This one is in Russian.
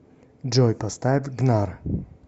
джой поставь гнар